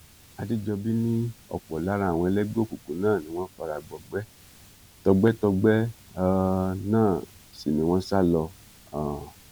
àdẹjọbí ni ọpọ lára àwọn ẹlẹgbẹ òkùnkùn náà ni wọn fara gbọgbẹ tọgbẹtọgbẹ um náà sì ni wọn sá lọ um